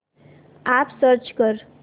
app search कर